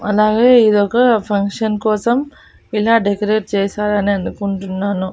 అలాగే ఇదొక ఫంక్షన్ కోసం ఇలా డెకరేట్ చేసారు అని అనుకుంటున్నాను.